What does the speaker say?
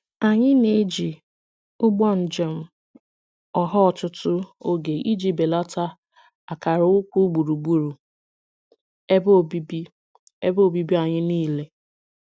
Anyị na-eji ụgbọ njem ọha ọtụtụ oge iji belata akara ukwu gburugburu ebe obibi ebe obibi anyị niile.